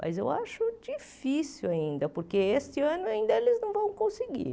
Mas eu acho difícil ainda, porque este ano ainda eles não vão conseguir.